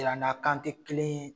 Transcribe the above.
Yir'an na kan te kelen ye